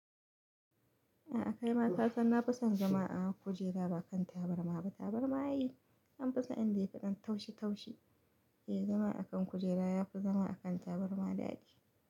A a kai ma ka san na fison zama a kujera ba kan tabarma ba, tabarma yi an fi son inda ya fi ɗan taushi taushi, eh zama akan kujera yafi zama akan tabarma daɗi.